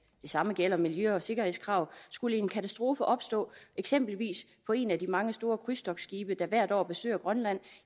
det samme gælder miljø og sikkerhedskrav skulle en katastrofe opstå eksempelvis på en af de mange store krydstogtskibe der hvert år besøger grønland